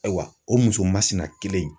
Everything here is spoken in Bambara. Ayiwa o muso masina kelen in